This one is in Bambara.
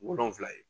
Wolonfila ye